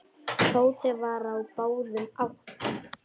Tóti var á báðum áttum.